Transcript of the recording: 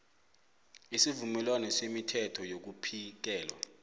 isivumelwano semithetho yokuphiketha